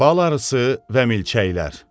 Bal arısı və milçəklər.